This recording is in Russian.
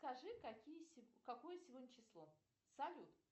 скажи какие какое сегодня число салют